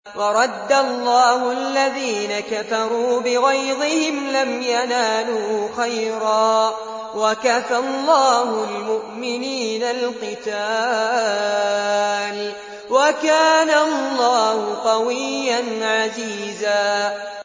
وَرَدَّ اللَّهُ الَّذِينَ كَفَرُوا بِغَيْظِهِمْ لَمْ يَنَالُوا خَيْرًا ۚ وَكَفَى اللَّهُ الْمُؤْمِنِينَ الْقِتَالَ ۚ وَكَانَ اللَّهُ قَوِيًّا عَزِيزًا